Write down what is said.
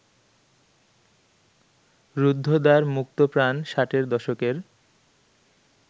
রুদ্ধদ্বার মুক্তপ্রাণ ষাটের দশকের